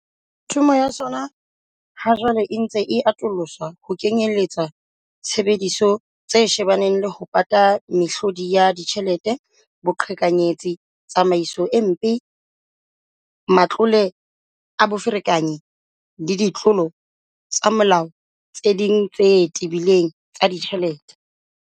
Thomo ya sona ha jwale e ntse e atoloswa ho kenyelletsa tshebediso tse shebana le ho pata mehlodi ya tjhelete, boqhekanyetsi, tsamaiso e mpe, matlole a boferekanyi le ditlolo tsa molao tse ding tse tebileng tsa ditjhelete.